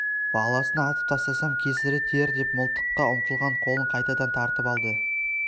баласын атып тастасам кесірі тиер деп мылтыққа ұмтылған қолын қайтадан тартып алды